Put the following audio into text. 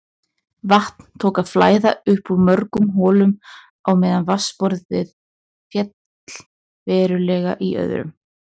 Vatn tók að flæða upp úr mörgum holum á meðan vatnsborð féll verulega í öðrum.